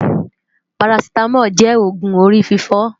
Parasitamol jè ógún óri fifò